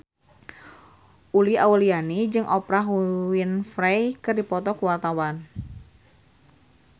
Uli Auliani jeung Oprah Winfrey keur dipoto ku wartawan